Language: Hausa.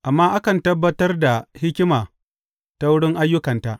Amma akan tabbatar da hikima ta wurin ayyukanta.